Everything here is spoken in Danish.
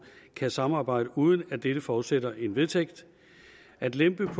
kan samarbejde uden at dette forudsætter en vedtægt at lempe